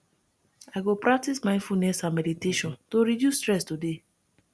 i go practice mindfulness and meditation to reduce stress today